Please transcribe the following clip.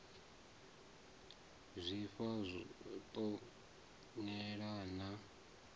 zwifha ṱo u yelana na